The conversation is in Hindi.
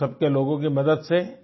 आप सबके लोगों की मदद से